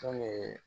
Fɛn